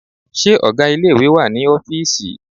Ṣé ọgá ilé ìwé wà ní ọ́fìísì?